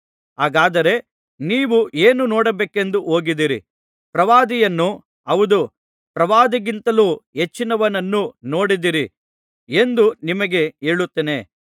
ಹಾಗಾದರೆ ನೀವು ಏನು ನೋಡಬೇಕೆಂದು ಹೋಗಿದ್ದಿರಿ ಪ್ರವಾದಿಯನ್ನೋ ಹೌದು ಪ್ರವಾದಿಗಿಂತಲೂ ಹೆಚ್ಚಿನವನನ್ನು ನೋಡಿದ್ದಿರಿ ಎಂದು ನಿಮಗೆ ಹೇಳುತ್ತೇನೆ